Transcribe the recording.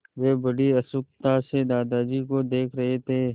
वे बड़ी उत्सुकता से दादाजी को देख रहे थे